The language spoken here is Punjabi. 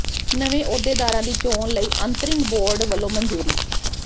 ਨਵੇਂ ਅਹੁਦੇਦਾਰਾਂ ਦੀ ਚੋਣ ਲਈ ਅੰਤ੍ਰਿੰਗ ਬੋਰਡ ਵੱਲੋਂ ਮਨਜ਼ੂਰੀ